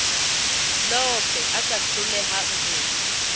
lofe a ka hlolehang ho